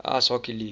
ice hockey league